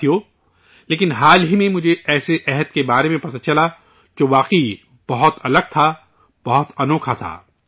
ساتھیو، لیکن حال ہی میں، مجھے ایسے عہد کے بارے میں پتہ چلا، جو واقعی بہت الگ تھا، بہت انوکھا تھا